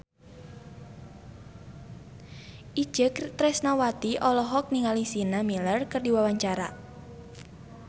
Itje Tresnawati olohok ningali Sienna Miller keur diwawancara